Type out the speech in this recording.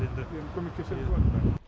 енді енді көмектесеміз ғой